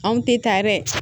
Anw tɛ taa yɛrɛ